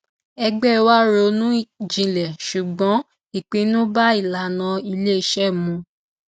ẹgbẹ wá ronú jinlẹ ṣùgbọn ìpinnu bá ìlànà iléiṣẹ mu